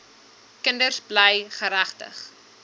kinders bly geregtig